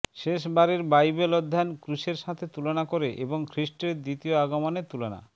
শেষ বারের বাইবেল অধ্যয়ন ক্রুশের সাথে তুলনা করে এবং খ্রীষ্টের দ্বিতীয় আগমনের তুলনা